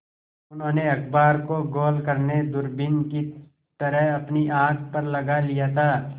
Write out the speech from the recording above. उन्होंने अखबार को गोल करने दूरबीन की तरह अपनी आँख पर लगा लिया था